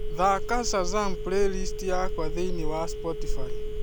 thaaka shazam playlist yakwa thĩinĩ wa spotify